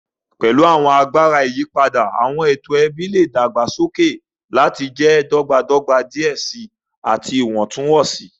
Pẹlu awọn agbara iyipada, awọn eto ẹbi le dagbasoke lati jẹ dọgbadọgba diẹ sii ati iwọntunwọnsi.